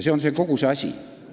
See on kogu see asi.